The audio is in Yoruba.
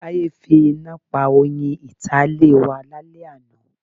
Táyé fi iná pa oyin ìta ilé wa lálẹ́ àná.